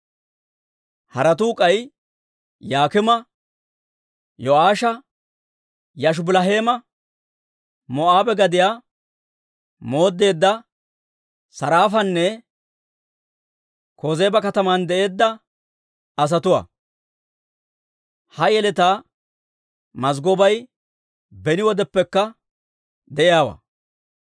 Haratuu k'ay Yok'iima, Yo'aasha, Yaashubiliheema, Moo'aabe gadiyaa mooddeedda Saraafanne Kozeeba kataman de'eedda asatuwaa. Ha yeletaa mazggobay beni wodeppekka de'iyaawaa.